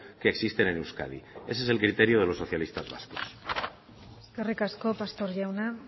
que existen en euskadi ese es el criterio de los socialistas vascos eskerrik asko pastor jauna